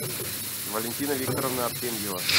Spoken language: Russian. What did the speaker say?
валентина викторовна артемьева